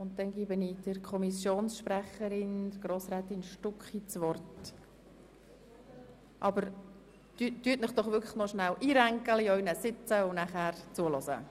Dann erhält die Kommissionssprecherin das Wort, aber ich bitte Sie nun, zuzuhören.